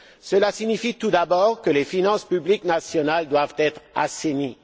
Cela signifie tout d'abord que les finances publiques nationales doivent être assainies.